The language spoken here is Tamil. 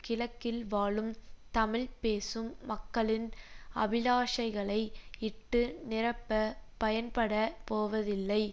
கிழக்கில் வாழும் தமிழ் பேசும் மக்களின் அபிலாஷைகளை இட்டு நிரப்ப பயன்படப் போவதில்லை